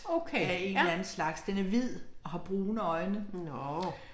Okay, ja. Nåh